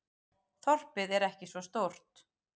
Þorpið er ekki svo stórt.